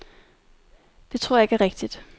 Det tror jeg ikke er rigtigt.